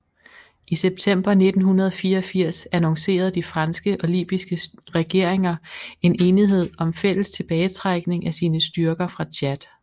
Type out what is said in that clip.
I september 1984 annoncerede de franske og libyske regeringer en enighed om fælles tilbagetrækning af sine styrker fra Tchad